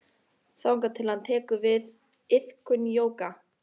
Þangað til að hann tekur til við iðkun jóga.